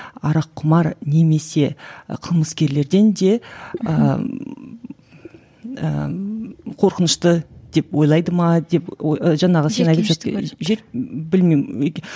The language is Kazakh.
араққұмар немесе і қылмыскерлерден де ііі қорқынышты деп ойлайды ма деп